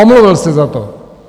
Omluvil se za to.